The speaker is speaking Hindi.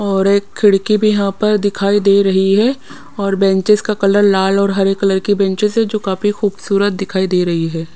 और एक खिड़की भी यहाँ पर दिखाई दे रही है और बेंचेस का कलर लाल और हरे कलर की बेंचेस है जो काफी खूबसूरत दिखाई दे रही है।